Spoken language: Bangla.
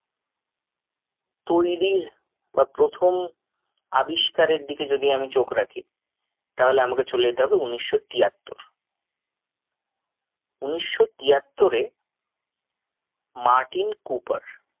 তৈরীর বা প্রথম আবিষ্কারের দিকে যদি আমি চোখ রাখি তাহলে আমাকে চলে যেতে হবে উনিশশো তিয়াত্তর উনিশশো তিয়াত্তরে মার্টিন কুপার